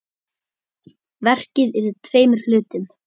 Verkið er í tveimur hlutum.